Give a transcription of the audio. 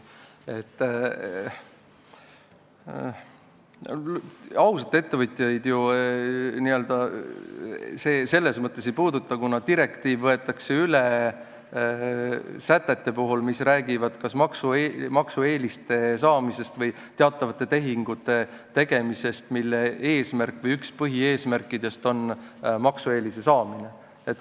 Ausaid ettevõtjaid see ju selles mõttes ei puuduta, et direktiiv võetakse üle sätete puhul, mis räägivad kas maksueeliste saamisest või teatavatest tehingutest, mille üks põhieesmärkidest on maksueelise saamine.